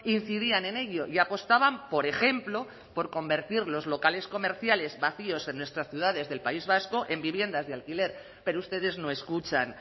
incidían en ello y apostaban por ejemplo por convertir los locales comerciales vacíos en nuestras ciudades del país vasco en viviendas de alquiler pero ustedes no escuchan